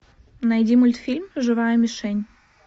найди мультфильм живая мишень